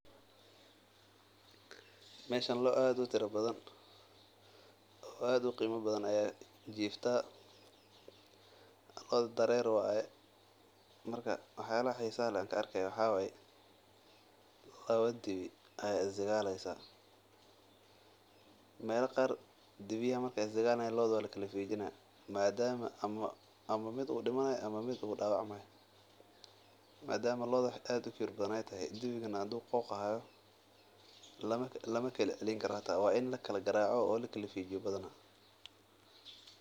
Meeshan loo aad utira badan oo qiima badan ayaa jirtaa, wax yaabaha xiisaha leh waxaa waye laba dibi ayaa is dagaali haayan madama looda wax aad ukibir badan aya tahay mala kala reebi karo waa in lagaraaco oo lakala fiijiyo.